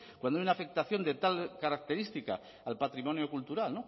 cuando hay una afectación de tal característica al patrimonio cultural